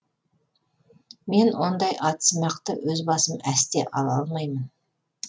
мен ондай атсымақты өз басым әсте ала алмаймын